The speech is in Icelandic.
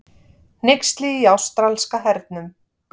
Hneyksli í ástralska hernum